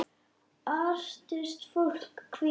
Artist fólks Hvíta.